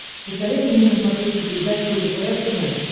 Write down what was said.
посоветуй мне на смотрешке передачу лдпр тв